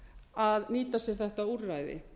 að nýta sér þetta úrræði